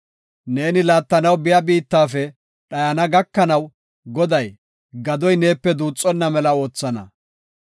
Neeni laattanaw biya biittafe dhayana gakanaw Goday, gadoy neepe duuxonna mela oothana.